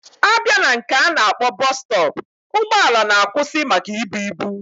Abia na nke ana akpo bus stop, ugbo ala na akwusi maka ibu ibu.